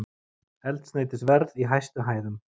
Eldsneytisverð í hæstu hæðum